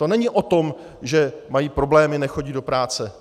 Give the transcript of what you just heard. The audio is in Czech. To není o tom, že mají problémy, nechodí do práce.